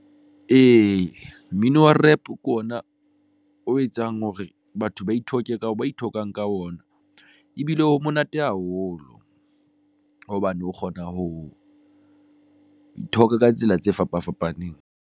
Ee, mmino wa rap ke ona o etsang hore batho ba ithoka ka ba ithoka ka ona ebile o monate haholo hobane o kgona ho ithoka ka tsela tse fapa fapaneng.